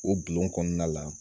O bulon kɔnɔna la